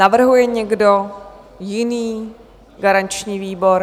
Navrhuje někdo jiný garanční výbor?